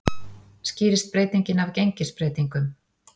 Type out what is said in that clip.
Skýrist breytingin af gengisbreytingum